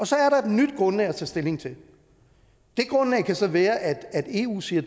så er der et nyt grundlag at tage stilling til det grundlag kan så være at eu siger